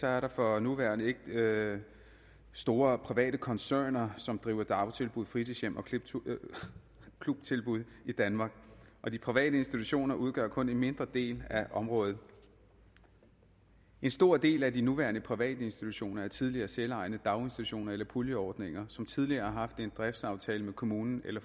er der for nuværende ikke store private koncerner som driver dagtilbud fritidshjem og klubtilbud i danmark og de private institutioner udgør kun en mindre del af området en stor del af de nuværende private institutioner er tidligere selvejende daginstitutioner eller puljeordninger som tidligere har haft en driftsaftale med kommunen eller